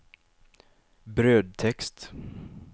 brödtext